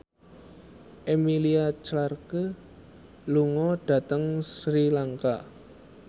Emilia Clarke lunga dhateng Sri Lanka